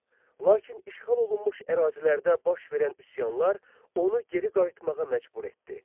Lakin işğal olunmuş ərazilərdə baş verən üsyanlar onu geri qayıtmağa məcbur etdi.